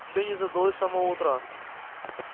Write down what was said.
всё не задалось с самого утра